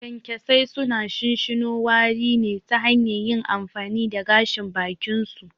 Kyankyasai suna shinshino wari ne ta hanyar yin amfani da gashin bakinsu.